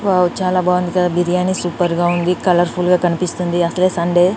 Wow చాలా బాగుంది కదా బిర్యాని సూపర్ గా ఉంది కలర్ ఫుల్ గా కనిపిస్తుంది అసలే సండే .